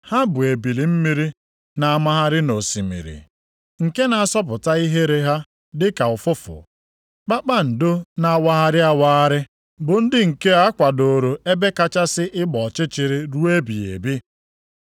Ha bụ ebili mmiri na-amagharị nʼosimiri, nke na-asọpụta ihere ha dịka ụfụfụ, kpakpando na-awagharị awagharị, bụ ndị nke a kwadooro ebe kachasị ịgba ọchịchịrị ruo ebighị ebi.